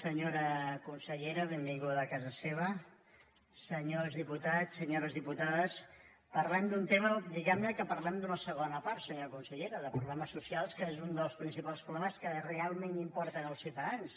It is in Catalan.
senyora consellera ben·vinguda a casa seva senyors diputats senyores dipu·tades parlem d’un tema diguem·ne que parlem d’una segona part senyora consellera de problemes socials que és un dels principals problemes que realment im·porten als ciutadans